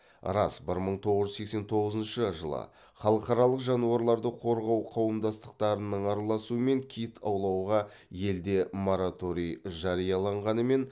рас бір мың тоғыз жүз сексен тоғызыншы жылы халықаралық жануарларды қорғау қауымдастықтарының араласуымен кит аулауға елде мораторий жарияланғанымен